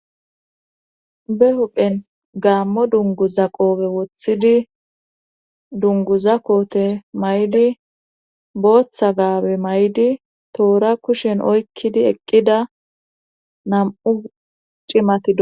be huphen gaammo dunguza qoobe wothidi dunguza koote may7di booththa gaabe may7di toora kushen oykkidi eqqida nam7u cimati do